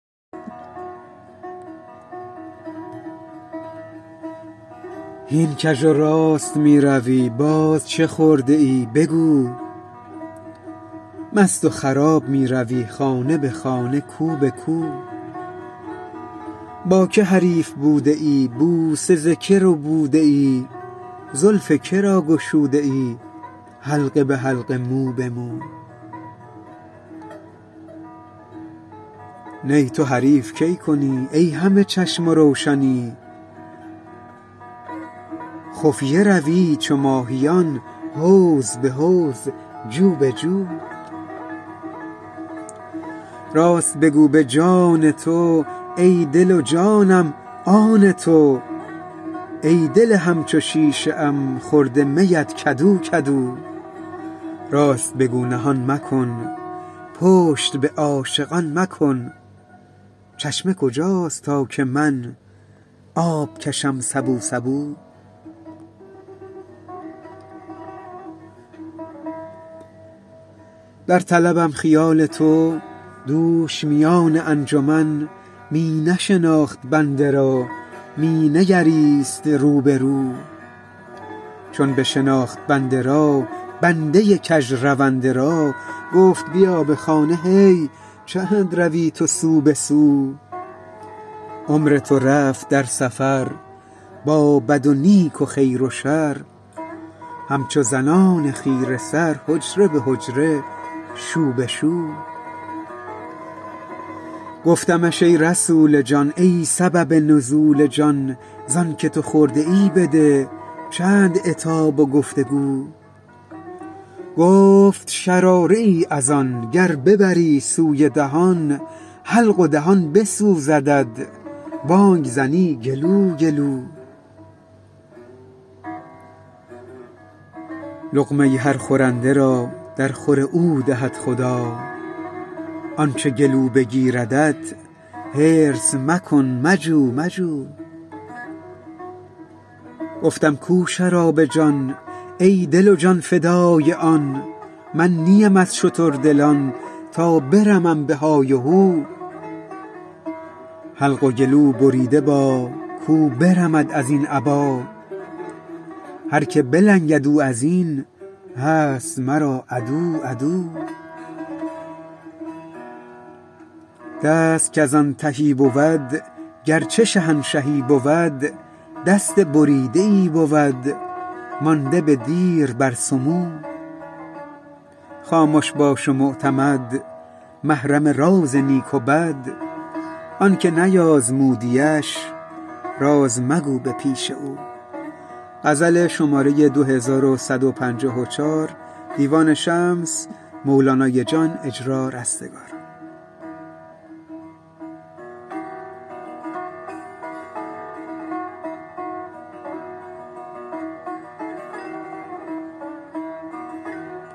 هین کژ و راست می روی باز چه خورده ای بگو مست و خراب می روی خانه به خانه کو به کو با کی حریف بوده ای بوسه ز کی ربوده ای زلف که را گشوده ای حلقه به حلقه مو به مو نی تو حریف کی کنی ای همه چشم و روشنی خفیه روی چو ماهیان حوض به حوض جو به جو راست بگو به جان تو ای دل و جانم آن تو ای دل همچو شیشه ام خورده میت کدو کدو راست بگو نهان مکن پشت به عاشقان مکن چشمه کجاست تا که من آب کشم سبو سبو در طلبم خیال تو دوش میان انجمن می نشناخت بنده را می نگریست رو به رو چون بشناخت بنده را بنده کژرونده را گفت بیا به خانه هی چند روی تو سو به سو عمر تو رفت در سفر با بد و نیک و خیر و شر همچو زنان خیره سر حجره به حجره شو به شو گفتمش ای رسول جان ای سبب نزول جان ز آنک تو خورده ای بده چند عتاب و گفت و گو گفت شراره ای از آن گر ببری سوی دهان حلق و دهان بسوزدت بانگ زنی گلو گلو لقمه هر خورنده را درخور او دهد خدا آنچ گلو بگیردت حرص مکن مجو مجو گفتم کو شراب جان ای دل و جان فدای آن من نه ام از شتردلان تا برمم به های و هو حلق و گلوبریده با کو برمد از این ابا هر کی بلنگد او از این هست مرا عدو عدو دست کز آن تهی بود گرچه شهنشهی بود دست بریده ای بود مانده به دیر بر سمو خامش باش و معتمد محرم راز نیک و بد آنک نیازمودیش راز مگو به پیش او